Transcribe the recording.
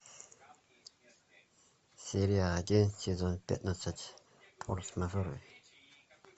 серия один сезон пятнадцать форс мажоры